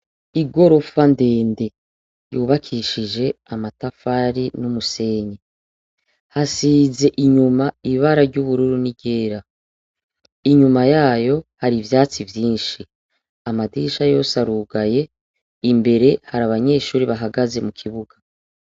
Igorofa ndende yubakishije amatafari n' umusenyi, hasize inyuma ibara ry' ubururu n' iryera, inyuma yayo hari ivyatsi vyinshi, amadirisha yose arugaye imbere hari abanyeshure bahagaze mukibuga.